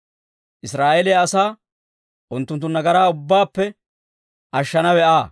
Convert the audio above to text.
Israa'eeliyaa asaa unttunttu nagaraa ubbaappe ashshanawe Aa.